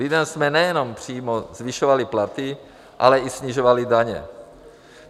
Lidem jsme nejenom přímo zvyšovali platy, ale i snižovali daně.